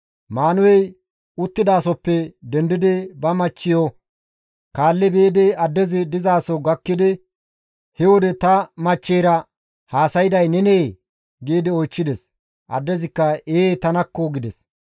Maanuhey uttidasohoppe dendi eqqidi ba machchiyo kaalli biidi addezi dizaso gakkidi, «He wode ta machcheyra haasayday nenee?» giidi oychchides. Addezikka, «Ee tanakko!» gides.